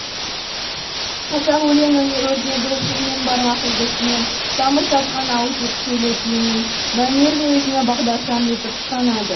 қазақ өлеңінің өрнегі жыр мен бармақ үлгісінен тамыр тартқан ауызекі сөйлеу тілінің мәнерін өзіне бағдаршам етіп ұстанады